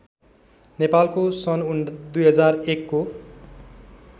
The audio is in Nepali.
नेपालको सन् २००१ को